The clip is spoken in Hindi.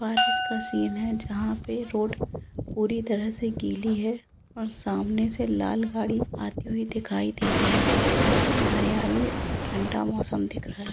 बारिश का सीन है जहां पर रोड पूरी तरह से गली है और सामने से लाल गाड़ी आई हुई दिखाई दे रही है काफी हरियाली और ठंडा मौसम दिखाएं--